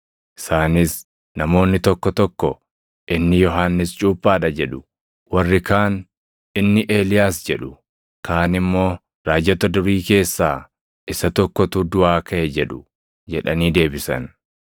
Isaanis, “Namoonni tokko tokko inni Yohannis Cuuphaa dha jedhu; warri kaan inni Eeliyaas jedhu; kaan immoo raajota durii keessaa isa tokkotu duʼaa kaʼe jedhu” jedhanii deebisan.